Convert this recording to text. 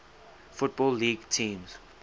football league teams